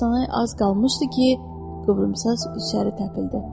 Elə astanaya az qalmışdı ki, Qıvrımsaç içəri təpildi.